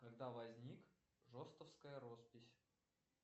когда возник ростовская роспись